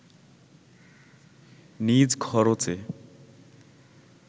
নিজ খরচে